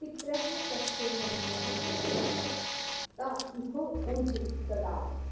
पितर॒स्तस्य॒ वस्वः॒ प्र य॑च्छत॒ त इ॒होर्जं॑ दधात